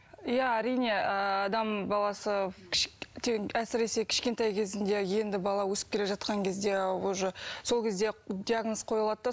иә әрине ыыы адам баласы әсіресе кішкентай кезінде енді бала өсіп келе жатқан кезде ы уже сол кезде диагноз қойылады да